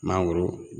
Mangoro